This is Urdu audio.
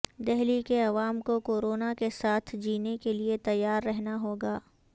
دہلی کے عوام کو کورونا کے ساتھ جینے کیلئے تیار رہنا ہوگا